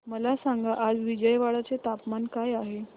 मला सांगा आज विजयवाडा चे तापमान काय आहे